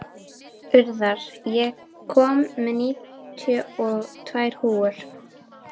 Urðar, ég kom með níutíu og tvær húfur!